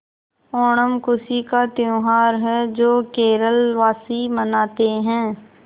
ओणम खुशी का त्यौहार है जो केरल वासी मनाते हैं